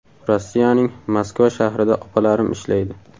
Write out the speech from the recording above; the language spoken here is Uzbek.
Rossiyaning Moskva shahrida opalarim ishlaydi.